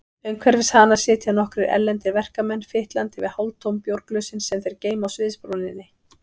Umhverfis hana sitja nokkrir erlendir verkamenn, fitlandi við hálftóm bjórglösin sem þeir geyma á sviðsbrúninni.